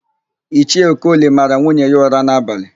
Ichie Okoli mara nwunye ya ụra n'abalị.